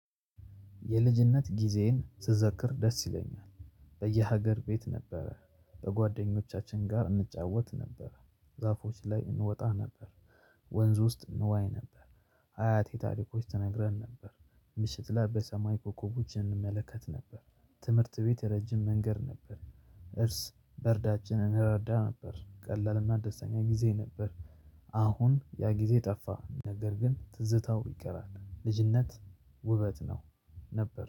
የልጅነት ጊዜን ስዘክር ደስ ይለኛል። በየሀገር ቤት ነበረ በጓደኞቻችን ጋር እንጫወት ነበር። ዛፎች ላይ እንወጣ ነበር ወንዝ ውስጥ እንዋይ ነበር። አያቴ ታሪኮች ተነግረን ነበር ምሽት ላይ በሰማይ ኮከቦች እንመለከት ነበር። ትምህርት ቤት ረጅም መንገድ ነበር። እርስ በእርሳችን እንረዳ ነበር ቀላልና ደስተኛ ጊዜ ነበር። አሁን ያጊዜ ጠፋ ነገርግን ትዝታው ይቀራል። ልጅነት ውበት ነው። ነበር